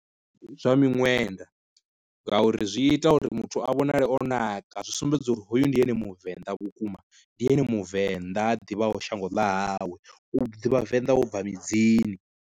Zwa miṅwenda, ngauri zwi ita uri muthu a vhonale o naka zwi sumbedza uri hoyu ndi ene muvenḓa vhukuma, ndi ene muvenḓa ha ḓivhaho shango ḽa hawe u ḓivha venḓa wo bva midzini.